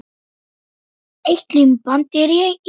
Eitt límband í einu.